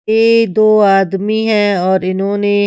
ये दो आदमी हैं और इन्होने।